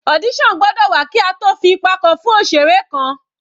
Audition gbọ́dọ̀ wà kí a tó fi ipa kan fún òṣeré kan.